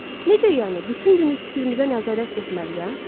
Necə yəni bütün günü fikrimizə nəzarət etməliyəm?